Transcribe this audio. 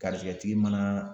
Garijɛgɛtigi mana